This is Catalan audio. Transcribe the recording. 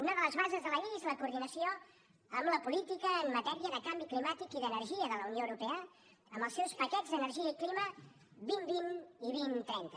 una de les bases de la llei és la coordinació amb la política en matèria de canvi climàtic i d’energia de la unió europea amb els seus paquets d’energia i clima dos mil vint i dos mil trenta